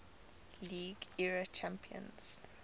league era champions